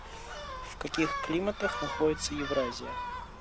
в каких климатах находится евразия